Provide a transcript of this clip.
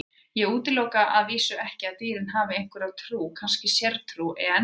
Ég útiloka að vísu ekki að dýrin hafi einhverja trú, kannski sértrú, en.